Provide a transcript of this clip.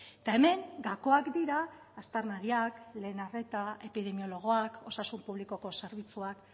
eta hemen gakoak dira aztarnariak lehen arreta epidemiologoak osasun publikoko zerbitzuak